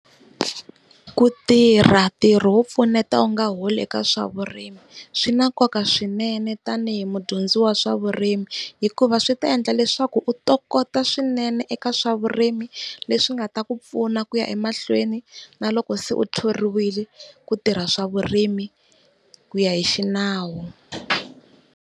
Ku tirha ntirho wo pfuneta u nga holi eka swa vurimi swi na nkoka swinene tanihi mudyondzi wa swa vurimi. Hikuva swi ta endla leswaku u tokoto swinene eka swa vurimi leswi nga ta ku pfuna ku ya emahlweni na loko se u thoriwile ku tirha swa vurimi ku ya hi xinawu.